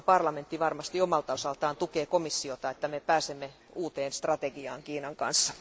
Euroopan parlamentti varmasti omalta osaltaan tukee komissiota, että pääsemme uuteen strategiaan Kiinan kanssa.